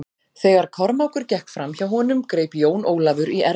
Þegar Kormákur gekk fram hjá honum greip Jón Ólafur í ermina hans.